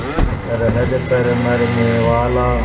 सरहद पर मरनेवाला